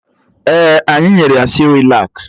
Ee, anyị nyere ya sịrịlak